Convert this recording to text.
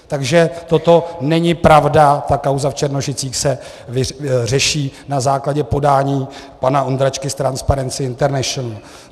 Takže toto není pravda, ta kauza v Černošicích se řeší na základě podání pana Ondráčky z Transparency International.